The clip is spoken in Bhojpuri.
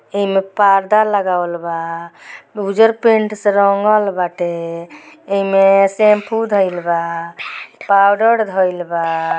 एमें पर्दा लगावल बा उजर पेंट से रंगल बाटे एमें शैंपू धईल बा पाउडर धईल बा।